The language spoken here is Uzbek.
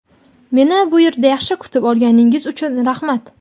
meni bu yerda yaxshi kutib olganingiz uchun rahmat.